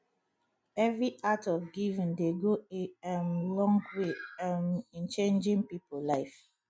evri act of giving dey go a um long way um in changin pipo life